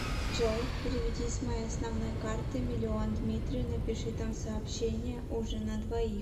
джой переведи с моей основной карты миллион дмитрию напиши там сообщение ужин на двоих